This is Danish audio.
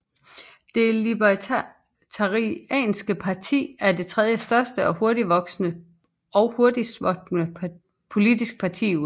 Det Libertarianske Parti er det tredjestørste og hurtigst voksende politiske parti i USA